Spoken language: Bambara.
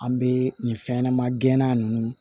An bɛ nin fɛn ɲɛnɛma gɛnna nunnu